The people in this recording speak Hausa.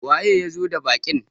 waye ya zo da baƙin?